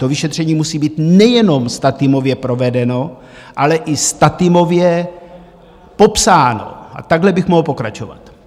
To vyšetření musí být nejenom statimově provedeno, ale i statimově popsáno, a takhle bych mohl pokračovat.